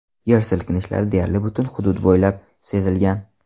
Yer silkinishlari deyarli butun hudud bo‘ylab sezilgan.